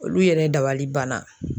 Olu yɛrɛ dabali banna.